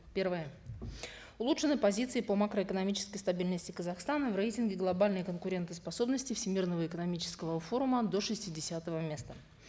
первое улучшены позиции по макроэкономической стабильности казахстана в рейтинге глобальной конкурентоспособности всемирного экономического форума до шестидесятого места